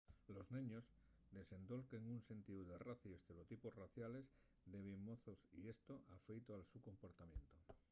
los neños desendolquen un sentíu de raza y estereotipos raciales de bien mozos y esto afeuta'l so comportamientu